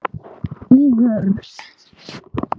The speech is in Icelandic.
Í vörn.